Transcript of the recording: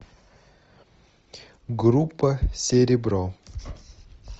группа серебро